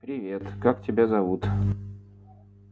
привет как тебя зовут